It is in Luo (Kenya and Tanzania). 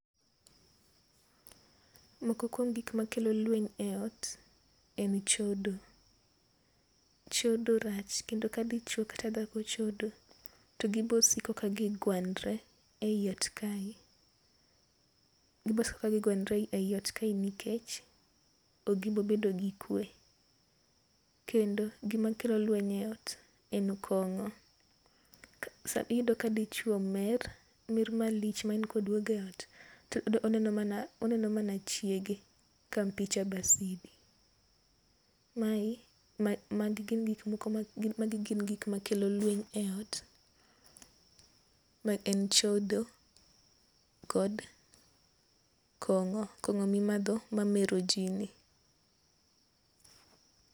Moko kuom gik ma kelo lweny e ot en chodo. Chodo rach kendo ka dichuo kata dhako chodo to gi bi siko ka gi gwanre e ot kae nikech ok gi bi bedo gi kwe. Kendo gi ma kelo lweny e ot en kong'o ,iyudo ka dichuo mer, mer ma lich ma en ka odwogo e ot to oneno mana chiege ka picha ghasia. Mae ma gi gin gik ma kelo lweny e ot, ma en chodo kod kong'o, kong'o mi madho ma mero ji ni.